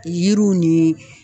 Yiriw ni